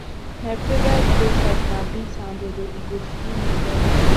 my favorite breakfast na beans and dodo e go fill me well well